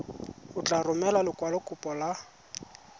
o tla romela lekwalokopo la